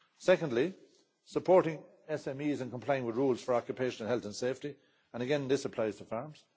secondly, supporting SMEs in complying with rules for occupational health and safety and, again, this applies to farms